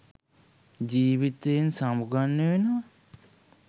ජීවිතයෙන් සමුගන්න වෙනවා.